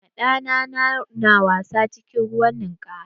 Ɗa na na wasa cikin ruwan ninkaya.